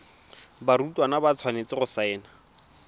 barutwana ba tshwanetse go saena